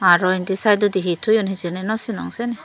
araw indi saidodi hi toyon hijeni naw sinong sen.